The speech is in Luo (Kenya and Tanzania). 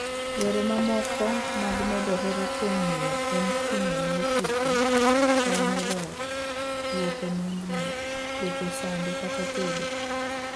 Yore mamoko mag medo hera kuom miyo en ting’one ofuko, yawone dhoot, luoko nengni, luoko sande, kata tedo.